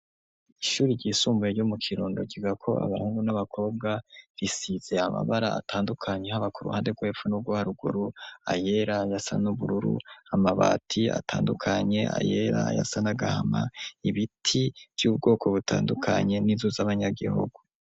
Ishuri ryisumbuye ryo mu kirundo giga ko abahungu n'abakobwa risize amabara atandukanye habak ruhande rwepfu n'uguharuguru ayela yasa n'ubururu amabati atandukanye ayera yasa nagahama ibiti by'ubwoko butandukanye n'inzu z'abanyagihugu.